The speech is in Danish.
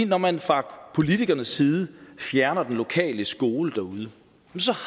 når man fra politikernes side fjerner den lokale skole derude så